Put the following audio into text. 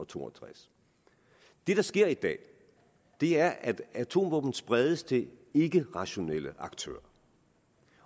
to og tres det der sker i dag er at atomvåben spredes til ikkerationelle aktører